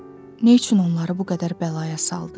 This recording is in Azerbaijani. neçün onları bu qədər bəlaya saldı?